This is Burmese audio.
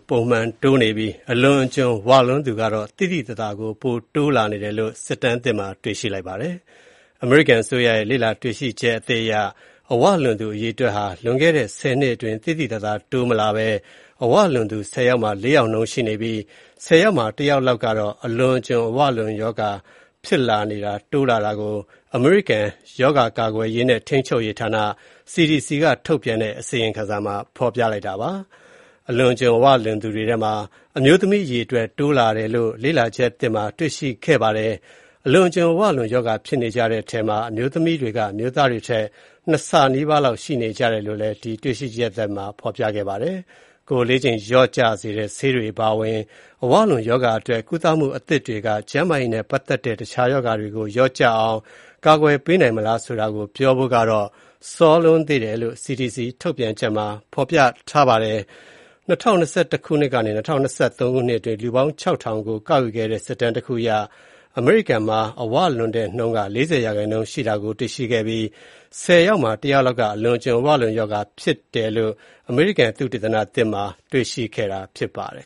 ပုံမှန်တိုးနေပြီး အလွန်အကျွံ ဝလွန်းသူကတော့ သိသိသာသာ ပိုတိုးလာတယ်လို့ လေ့လာချက်တွေမှာ တွေ့ရှိခဲ့ပါတယ်။ အမေရိကန်အစိုးရရဲ့ လေ့လာတွေ့ရှိချက်အသစ်အရ အဝလွန်သူ အရေအတွက်ဟာ လွန်ခဲ့တဲ့ ၁၀ နှစ်အတွင်း သိသိသာသာ တိုးမလာဘဲ အဝလွန်သူ ၁၀ ယောက်မှာ ၄ ယောက်နှုန်းရှိနေပြီး ၁၀ ယောက်မှာ ၁ ယောက်လောက်ကတော့ အလွန်အကျွံ အဝလွန်ရောဂါဖြစ်နေတယ်လို့ အမေရိကန် ရောဂါကာကွယ်ရေးနဲ့ ထိန်းချုပ်ရေးဌာန (CDC) ကထုတ်ပြန်တဲ့ အစီရင်ခံစာမှာ ဖော်ပြပါတယ်။ အလွန်အကျွံအဝလွန်သူတွေထဲမှာ အမျိုးသမီး အရေအတွက် တိုးလာတယ်လို့ လေ့လာချက်သစ်တွေမှာ တွေ့ရှိခဲ့ပါတယ်။ အလွန်အကျွံအဝလွန်ရောဂါဖြစ်နေကြတဲ့ထဲမှာ အမျိုးသမီးတွေက အမျိုးသားတွေထက် ၂ ဆ နီးပါးလောက်ရှိနေကြပါတယ်။ ကိုယ်အလေးချိန်လျော့ကျစေတဲ့ ဆေးတွေအပါအဝင် အဝလွန်ရောဂါအတွက် ကုသမှုအသစ်တွေက ကျန်းမာရေးနဲ့ ပတ်သက်တဲ့ တခြားရောဂါတွေ လျော့ကျအောင် ကာကွယ်ပေးနိုင်မလားဆိုတာကိုပြောဖို့ကတော့ စောလွန်းသေးတယ်လို့ CDC ထုတ်ပြန်ချက်မှာ ပြောထားပါတယ်။ ၂၀၂၁ ကနေ ၂၀၂၃ ခုနှစ်အတွင်း လူပေါင်း ၆ ထောင်ကို ကောက်ယူခဲ့တဲ့ စစ်တမ်းတခုအရ အမေရိကန်မှာ အဝလွန်တဲ့နှုန်းက ၄၀% ရှိတာကိုတွေ့ရှိခဲ့ပြီး၊ ၁၀ ယောက်မှာ ၁ ယောက်လောက်က အလွန်အကျွံအဝလွန်ရောဂါဖြစ်နေတာဖြစ်တယ်လို့ အမေရိကန် သုတေသနသစ်မှာ တွေ့ရှိခဲ့တာဖြစ်ပါတယ်